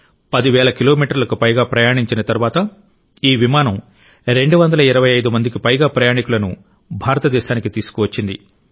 పదివేల కిలోమీటర్లకు పైగా ప్రయాణించిన తరువాత ఈ విమానం రెండు వందల ఇరవై ఐదు మందికి పైగా ప్రయాణికులను భారతదేశానికి తీసుకువచ్చింది